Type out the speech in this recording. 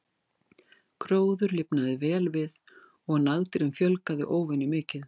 Gróður lifnaði vel við og nagdýrum fjölgaði óvenju mikið.